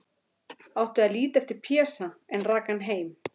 Átti að líta eftir Pésa, en rak hann heim.